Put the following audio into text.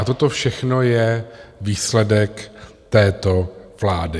A toto všechno je výsledek této vlády.